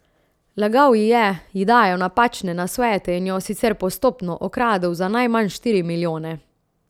Lagal ji je, ji dajal napačne nasvete in jo, sicer postopno, okradel za najmanj štiri milijone.